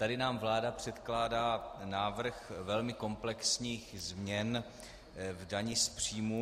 Tady nám vláda předkládá návrh velmi komplexních změn v daních z příjmů.